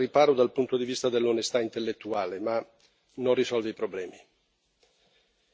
ci mette forse al riparo dal punto di vista dell'onestà intellettuale, ma non risolve i problemi.